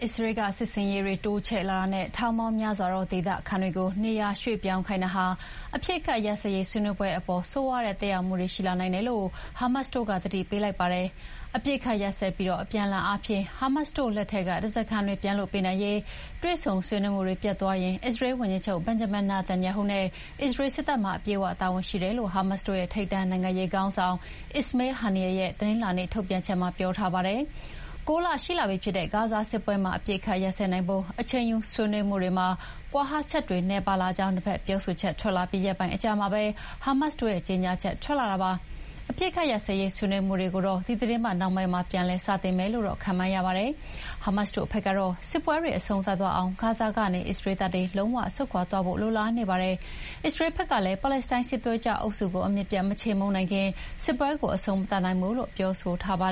အစ္စရေးလ်က စစ်ဆင်ရေးတွေတိုးချဲ့လာနဲ့ ထောင်ပေါင်းများစွာသော ဒေသခံတွေကို နေရာရွှေ့ပြောင်းခိုင်းတာဟာ အပစ်အခတ်ရပ်စဲရေး ဆွေးနွေးပွဲတွေအပေါ် ဆိုးရွားတဲ့သက်ရောက်မှုတွေရှိလာနိုင်တယ်လို့ ဟာမတ်စ်တို့က သတိပေးလိုက်ပါတယ်။ အပစ်အခတ်ရပ်စဲပြီး အပြန်အလှန်အားဖြင့် ဟာမတ်စ်တို့လက်ထဲက ဓားစာခံတွေပြန်လွှတ်ပေးနိုင်ရေး တွေ့ဆုံဆွေးနွေးမှုတွေပျက်သွားရင် အစ္စရေးလ်ဝန်ကြီးချုပ် Benjamin Netanyahu နဲ့ အစ္စရေးလ်စစ်တပ်မှာ အပြည့်အဝတာဝန်ရှိတယ်လို့ ဟာမတ်စ်တို့ရဲ့ ထိပ်တန်းနိုင်ငံရေးခေါင်းဆောင် Ismail Haniyeh ရဲ့ တနင်္လာနေ့ထုတ်ပြန်ချက်မှာ ပြောထားပါတယ်။ ၉ လရှိလာပြီဖြစ်တဲ့ ဂါဇာစစ်ပွဲမှာ အပစ်အခတ်ရပ်စဲနိုင်ဖို့ အချိန်ယူဆွေးနွေးမှုတွေမှာ ကွာဟချက်တွေနည်းပါးလာကြောင်း နှစ်ဖက်ပြောဆိုချက်ထွက်လာပြီးရက်ပိုင်းအကြာမှာပဲ ဟာမတ်စ်တို့ရဲ့ကြေညာချက်ထွက်လာတာဖြစ်ပါတယ်။ အပစ်အခတ်ရပ်စဲရေးဆွေးနွေးမှုတွေကိုတော့ ဒီသီတင်းပတ်နှောင်းပိုင်းမှာ ပြန်လည်စတင်မယ်လို့တော့ ခန့်မှန်းရပါတယ်။ ဟာမတ်စ်တို့ဘက်ကတော့ စစ်ပွဲတွေအဆုံးသတ်သွားအောင် ဂါဇာကနေ အစ္စရေးလ်တပ်တွေ လုံးဝဆုတ်ခွါသွားဖို့လိုလားနေပါတယ်။ အစ္စရေးလ်ဖက်ကလည်း ပါလက်စတိုင်းစစ်သွေးကြွအုပ်စုကို အမြစ်ပြတ် မခြေမှုန်းနိုင်ခင် စစ်ပွဲကိုအဆုံးမသတ်နိုင်ဘူးလို့ပြောဆိုထားတာပါ